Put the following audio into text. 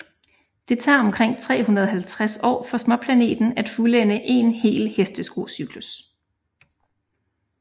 Det tager omkring 350 år for småplaneten at fuldende én hel hesteskocyklus